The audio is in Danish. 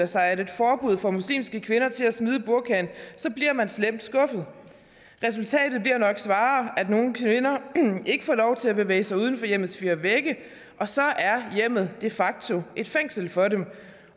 sig at et forbud får muslimske kvinder til at smide burkaen bliver man slemt skuffet resultatet bliver nok snarere at nogle kvinder ikke får lov til at bevæge sig uden for hjemmets fire vægge og så er hjemmet de facto et fængsel for dem